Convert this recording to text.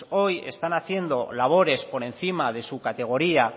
hoy están haciendo labores por encima de su categoría